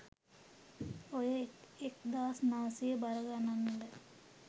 ඔය එක්දාස් නවසිය බර ගණන්වල